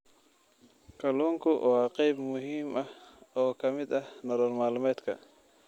Kalluunku waa qayb muhiim ah oo ka mid ah nolol maalmeedka.